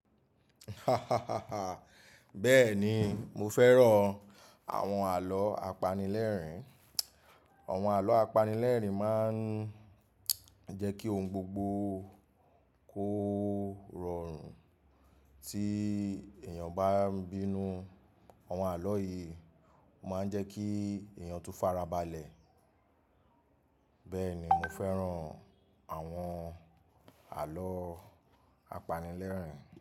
Bẹ́ẹ̀ni, mo fẹ́ràn àwọn àlọ́ apanilẹ́rìn-ín. Àwọn àlọ́ apanilẹ́rìn-ín máa ń jẹ́ kí ohun gbogbo kó rọrùn. Tí èèyàn bá ń bínú, àwọn àlọ́ yìí máa ń jẹ́ kí èèyàn tun farabalẹ̀. Bẹ́ẹ̀ni, mo fẹ́ràn àwọn àlọ́ apanilẹ́rìn-ín.